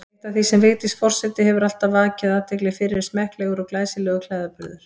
Eitt af því sem Vigdís forseti hefur vakið athygli fyrir er smekklegur og glæsilegur klæðaburður.